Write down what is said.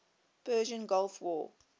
persian gulf war